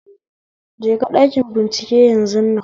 Je ka ɗanki bincike yanzun nan